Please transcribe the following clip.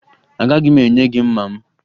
Agaghị m enye gị mma m